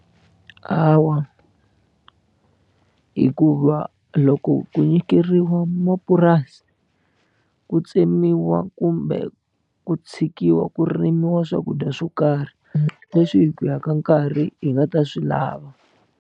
Hawa hikuva loko ku nyikeriwa mapurasi ku tsemiwa kumbe ku tshikiwa ku rimiwa swakudya swo karhi leswi hi ku ya ka nkarhi hi nga ta swi lava.